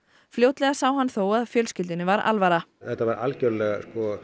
fljótlega sá hann þó að fjölskyldunni var alvara þetta var algjörlega